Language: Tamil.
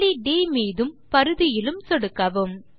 புள்ளி ட் மீதும் பரிதியிலும் சொடுக்கவும்